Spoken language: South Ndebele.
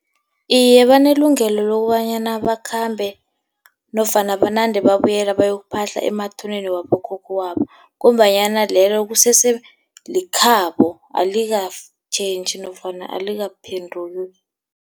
Iye, banelungelo lokobanyana bakhambe nofana banande babuyela bayokuphahla emathuneni wabokhokho babo, ngombanyana lelo kusese likhabo. Alika-change nofana alikaphenduki.